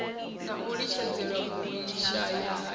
na u litshedzelwa vhushayahaya ha